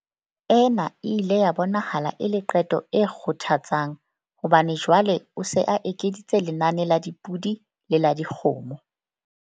Ena e ile ya bonahala e le qeto e kgothatsang hobane jwale o se a ekeditse lenane la dipodi le la dikgomo.